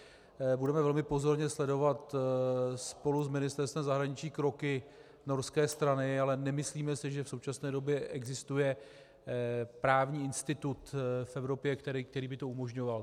Budeme velmi pozorně sledovat spolu s Ministerstvem zahraničí kroky norské strany, ale nemyslíme si, že v současné době existuje právní institut v Evropě, který by to umožňoval.